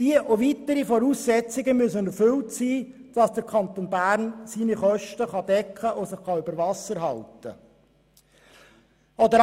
Diese und weitere Voraussetzungen müssen erfüllt sein, damit der Kanton Bern seine Kosten decken und sich über Wasser halten kann.